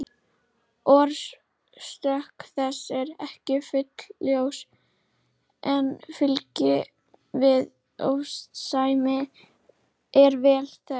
Orsök þess er ekki fullljós en fylgni við ofnæmi er vel þekkt.